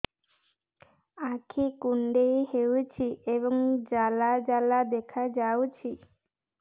ଆଖି କୁଣ୍ଡେଇ ହେଉଛି ଏବଂ ଜାଲ ଜାଲ ଦେଖାଯାଉଛି